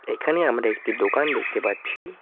এখানে আমরা একটি দোকান দেখতে পাচ্ছি।